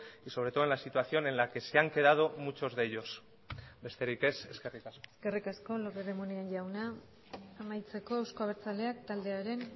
y sobre todo en la situación en la que se han quedado muchos de ellos besterik ez eskerrik asko eskerrik asko lópez de munain jauna amaitzeko euzko abertzaleak taldearen